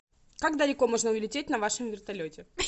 как далеко можно улететь на вашем вертолете